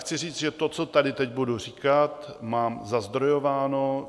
Chci říct, že to, co tady teď budu říkat, mám zazdrojováno.